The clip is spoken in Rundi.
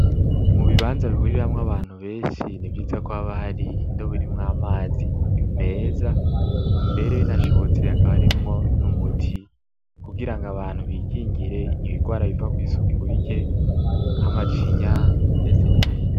Mu bibanza bihuriramwo abantu benshi ni vyiza ko aba hari indobo irimwo amazi meza mbere binashobotse hakaba arimwo n'umuti kugira ngo abantu bikingire ibigwara biva kw'isuku rike nk'amacinya ndetse n'ibindi.